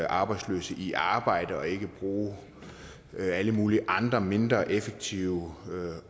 arbejdsløse i arbejde så de ikke bruger alle mulige andre mindre effektive